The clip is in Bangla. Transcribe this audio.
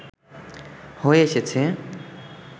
হয়ে এসেছে